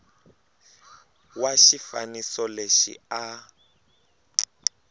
wa xifaniso lexi a a